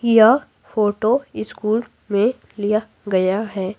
यह photo school में लिया गया है।